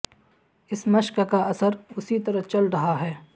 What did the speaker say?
اس مشق کا اثر اسی طرح چل رہا ہے